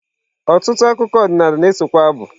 Ọtụtụ akụkọ ọdịnala na-esokwa abụ.